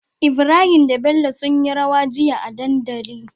Ibrahim da bello sunyi rawa jiya a dandali